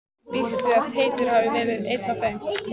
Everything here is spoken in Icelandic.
Ég býst við að Teitur hafi verið einn af þeim.